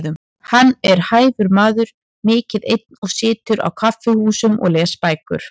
Hann er hæfur maður, mikið einn og situr á kaffihúsum og les bækur.